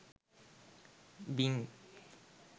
bing